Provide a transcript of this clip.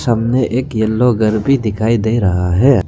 सामने एक येलो घर भी दिखाई दे रहा है।